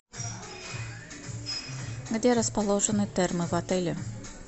где расположены термы в отеле